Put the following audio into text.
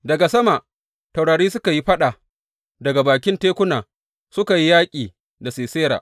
Daga sama taurari suka yi faɗa, daga bakin tekuna suka yi yaƙi da Sisera.